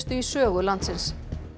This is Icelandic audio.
í sögu landsins